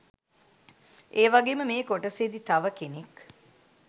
ඒවගෙම මෙ කොටසෙදි තව කෙනෙක්